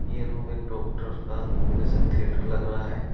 यह रूम एक डॉक्टर का ओपरेशन थिएटर लग रहा है।